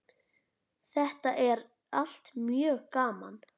Þetta er allt mjög gaman.